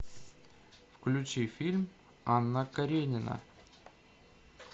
включи фильм анна каренина